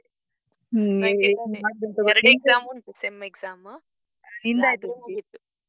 ಹ್ಮ್ ಮತ್ತೆ ಎರಡ್ exam ಉಂಟು SEM exam .